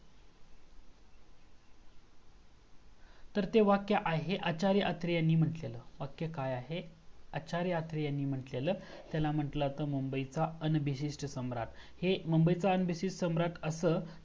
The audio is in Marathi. तर ते वाक्य आहे हे आचार्य आत्रे यांनी मंट्लेल, वाक्य काय आहे आचार्य आत्रे यांनी मंट्लेला त्यांन मंटला होतं मुंबईचा UNBASIS सम्राट हे मुंबई च UNBASIS सम्राट असं